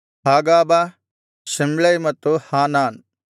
Hagab Shamlai ಮತ್ತು ಹಾನಾನ್